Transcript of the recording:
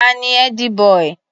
Ta ni ẹ́dí-bọì?